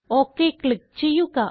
okay click ചെയ്യുക